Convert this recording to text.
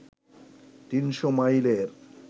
তিনশো মাইলের